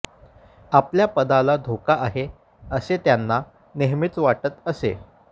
आपल्या पदाला धोका आहे असे त्यांना नेहमीच वाटत असे